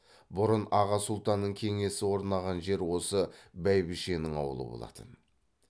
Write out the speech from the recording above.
бұрын аға сұлтанның кеңесі орнаған жер осы бәйбішенің аулы болатын